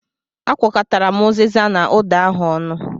Akwọ̀kọtara m uziza na ụda ahụ ọnụ.